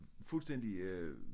Fuldstændig øh